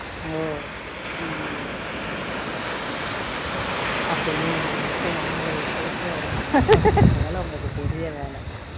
அப்போ இனி நீங்கள் முட்டை omlet போட்டு அவருக்கு சாப்பாடு போடுற வேலை உங்களுக்கு பெரிய வேலை